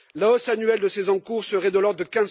La hausse annuelle de ces encours serait de l'ordre de